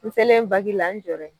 N selen baki la n jɔra yen.